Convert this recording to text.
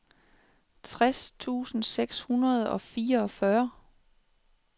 tres tusind seks hundrede og fireogfyrre